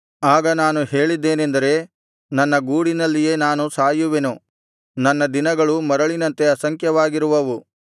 ಆಗ ನಾನು ಹೇಳಿದ್ದೇನೆಂದರೆ ನನ್ನ ಗೂಡಿನಲ್ಲಿಯೇ ನಾನು ಸಾಯುವೆನು ನನ್ನ ದಿನಗಳು ಮರಳಿನಂತೆ ಅಸಂಖ್ಯವಾಗಿರುವವು